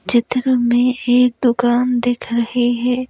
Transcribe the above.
चित्र में एक दुकान दिख रही है।